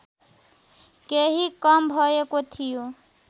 केही कम भएको थियो